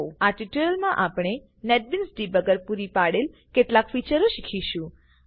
આ ટ્યુટોરીયલ આપણે NetBeans debugger પૂરી પાડેલ કેટલાક ફીચરો શીખીશું